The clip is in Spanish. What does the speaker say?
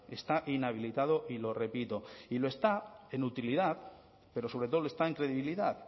está inhabilitado y lo repito y lo está en utilidad pero sobre todo lo está en credibilidad